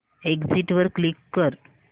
exit वर click कर